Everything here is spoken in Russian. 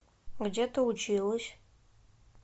где ты училась